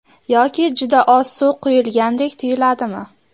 Yoki juda oz suv quyilgandek tuyiladimi?